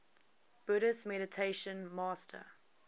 buddhist meditation master